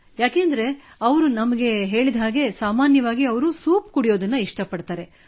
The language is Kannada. ಏಕೆಂದರೆ ಅವರು ನಮಗೆ ಹೇಳಿದಂತೆ ಸಾಮಾನ್ಯವಾಗಿ ಅವರು ಸೂಪ್ ಕುಡಿಯುವುದನ್ನು ಇಷ್ಟಪಡುತ್ತಾರೆ